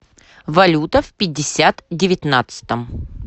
валюта в пятьдесят девятнадцатом